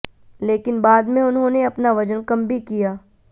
लेकिन बाद में उन्होंने अपना वजन कम भी किया